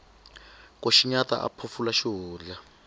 ku xinyata a phofula xihundla